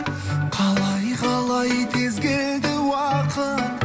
қалай қалай тез келді уақыт